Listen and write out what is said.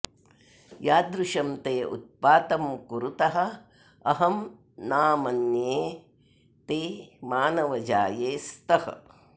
यादृशं ते उत्पातं कुरुतः अहं ना मन्ये ते मानवजाये स्तः